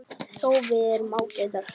Þó erum við ágætar.